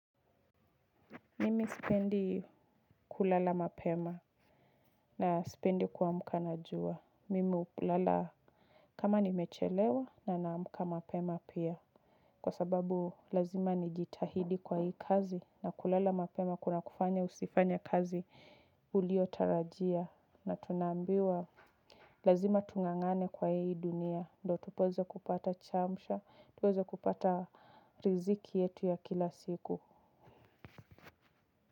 Mimi sipendi kulala mapema na sipendi kuamka na jua. Mimi hulala kama nimechelewa na naamuka mapema pia. Kwa sababu lazima nijitahidi kwa hii kazi na kulala mapema kunakufanya usifanye kazi uliyotarajia. Na tunaambiwa lazima tung'ang'ane kwa hii dunia. Ndio tuweze kupata chamcha, tuweze kupata riziki yetu ya kila siku.